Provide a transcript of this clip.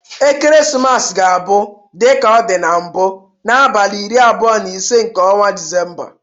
Ekeresimesi ga-abụ, dịka ọ dị mbụ abụ, n'abalị iri abụo na ise nke ọnwa Disemba.